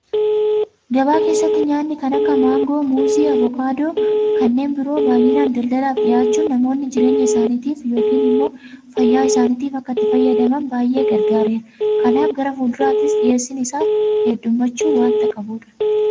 Gabaa keessatti nyaanni kan akka maangoo, Muuzii, Abukaadoofi kanneen biroo baay'inaan daldalaaf dhiyaachuun namoonni jireenya isaaniitiif yookiin immoo fayyaa isaaniitiif akka ittii fayyadamaan baay'ee gargaareera. Kanaaf gara fuulduraattis dhiyeessiin isaa heddummachuu waanta qabudha.